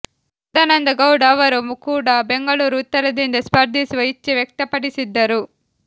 ಸದಾನಂದ ಗೌಡ ಅವರು ಕೂಡ ಬೆಂಗಳೂರು ಉತ್ತರದಿಂದ ಸ್ಪರ್ಧಿಸುವ ಇಚ್ಛೆ ವ್ಯಕ್ತಪಡಿಸಿದ್ದರು